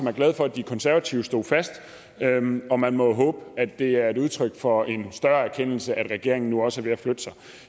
er glade for at de konservative stod fast og man må jo håbe at det er et udtryk for en større erkendelse at regeringen nu også er ved at flytte sig